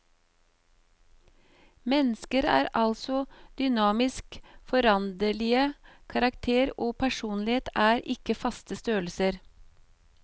Mennesker er altså dynamisk foranderlige, karakter og personlighet er ikke faste størrelser.